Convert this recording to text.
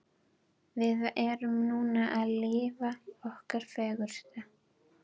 Við erum núna að lifa okkar fegursta.